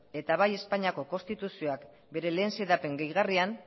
eta bai espainiako konstituzioak bere lehen xedapen gehigarrian